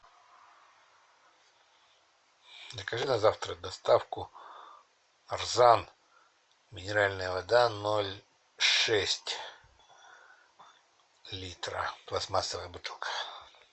закажи на завтра доставку нарзан минеральная вода ноль шесть литра пластмассовая бутылка